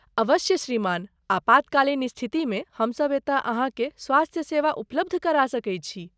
अवश्य श्रीमान, आपातकालीन स्थितिमे हमसब एतय अहाँकेँ स्वास्थ्य सेवा उपलब्ध करा सकैत छी।